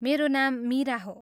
मेरो नाम मिरा हो।